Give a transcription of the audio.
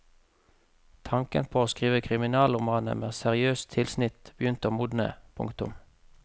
Tanken på å skrive kriminalromaner med seriøst tilsnitt begynte å modne. punktum